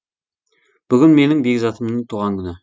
бүгін менің бекзатымның туған күні